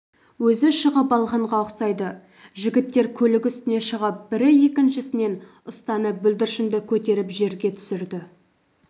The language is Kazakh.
өзі шығып алғанға ұқсайды жігіттер көлік үстіне шығып бірі екіншісінен ұстанып бүлдіршінді көтеріп жерге түсірді